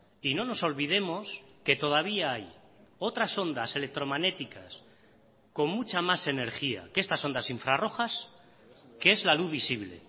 y no nos olvidemos que todavía hay otras ondas electromagnéticas con mucha más energía que estas ondas infrarrojas que es la luz visible